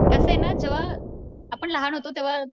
कसय ना जेव्हा आपण लहान होतो तेव्हा